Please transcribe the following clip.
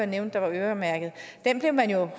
nævnte var øremærket blev man jo